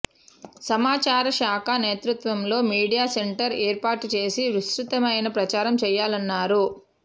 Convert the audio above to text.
సమాచార శాఖ నేతృత్వంలో మీడియా సెంటర్ ఏర్పాటు చేసి విస్తృతమైన ప్రచారం చేయాలన్నారు